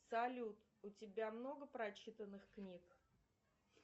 салют у тебя много прочитанных книг